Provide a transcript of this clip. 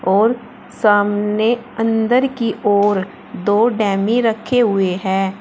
और सामने अंदर की ओर दो डमी रखे हुए हैं।